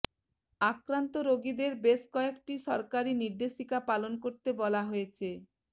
আক্রান্ত রোগীদের বেশি কয়েকটি সরকারি নির্দেশিকা পালন করতে বলা হয়েছে